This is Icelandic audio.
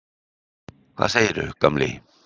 Hvað segirðu, gamli?